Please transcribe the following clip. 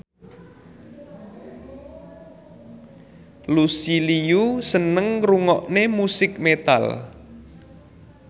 Lucy Liu seneng ngrungokne musik metal